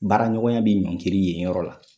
Baaraɲɔgɔnya bi ɲɔngiri yen yɔrɔ la.